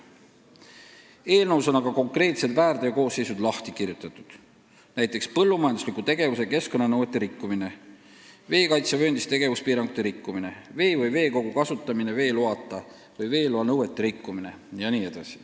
Eelnõus on aga konkreetsed väärteokoosseisud lahti kirjutatud, näiteks põllumajandusliku tegevuse keskkonnanõuete rikkumine, veekaitsevööndis tegevuspiirangute rikkumine, vee või veekogu kasutamine veeloata või veeloa nõuete rikkumine.